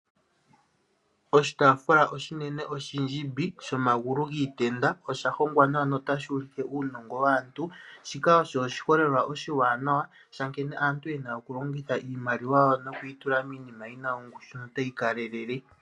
Oshitaafula oshinene oshindjimbi shomagulu giitenda osha hongwa nawa notashi ulike uunongo waantu, shika osho oshiholelwa oshiwanawa sha nkene aantu ye na oku longitha iimaliwa yawo noku yi tula miinima yongushu notayi kalelele.